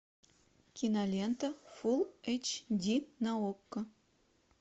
кинолента фулл эйч ди на окко